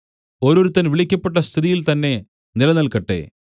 ഓരോരുത്തൻ വിളിക്കപ്പെട്ട സ്ഥിതിയിൽ തന്നെ നിലനിൽക്കട്ടെ